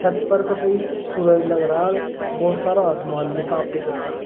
सूरज लग रहा बहोत सारा आसमान भी साफ दिख रहा--